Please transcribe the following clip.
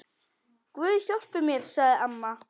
Guð hjálpi mér, sagði amma.